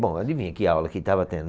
Bom, adivinha que aula que estava tendo?